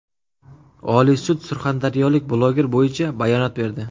Oliy sud surxondaryolik bloger bo‘yicha bayonot berdi.